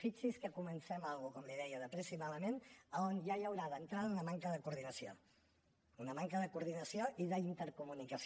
fixi’s que comencem una cosa com li deia de pressa i malament on ja hi haurà d’entrada una manca de coordinació una manca de coordinació i d’intercomunicació